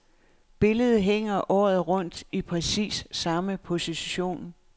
Billedet hænger året rundt i præcis samme position.